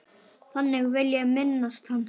Þannig vil ég minnast hans.